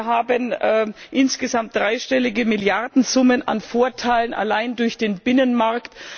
Wir haben insgesamt dreistellige Milliardensummen an Vorteilen allein durch den Binnenmarkt.